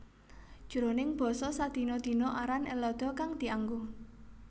Jroning basa sadina dina aran Ellada kang dianggo